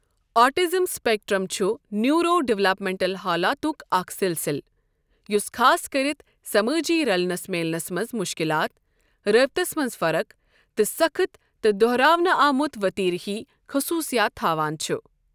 Autism spectrum چھُ neuro developmental حالاتُک اکھ سلسلہٕ ، یُس خاص کٔرِتھ، سمٲجی رلنس میلنس منز مٗشكِلات ، رٲبِطس منٛز فرق، تہٕ سخٕت تہٕ دوہراونہٕ آمٗت وتیرٕ ہی خصوصِیات تھاوان چھٗ ۔